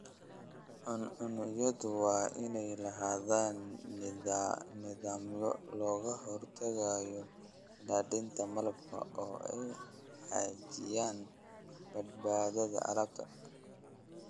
Cuncunyadu waa inay lahaadaan nidaamyo looga hortagayo daadinta malabka oo ay xaqiijiyaan badbaadada alaabta.